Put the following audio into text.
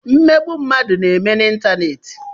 mmegbu mmadu na-eme n'ịntanetị